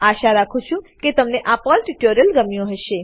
આશા રાખું છું કે તમને આ પર્લ ટ્યુટોરીયલ ગમ્યું હશે